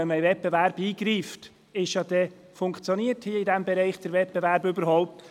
Wenn man in den Wettbewerb eingreift, muss man sich fragen, ob der Wettbewerb in diesem Bereich überhaupt funktioniert.